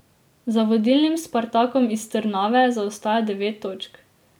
Za vodilnim Spartakom iz Trnave zaostaja devet točk.